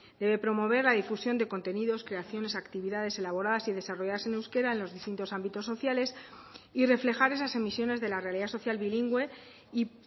debe promover la difusión de contenidos creaciones actividades elaboradas y desarrolladas en euskera en los distintos ámbitos sociales y reflejar esas emisiones de la realidad social bilingüe y